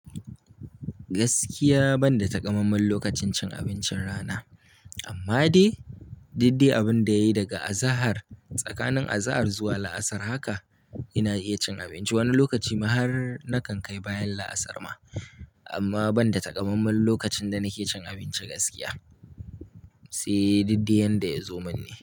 Gaskiya ban da takamammen lokacin cin abincin rana, amma dai didde abin da yayi daga azahar tsakanin azahar zuwa la'asar haka ina iya cin abinci. Wani lokaci ma har na kan kai bayan la'asar ma. Amma ban da takamammen lokacin da nake cin abinci gaskiya, sai didde yanda ya zo min ne.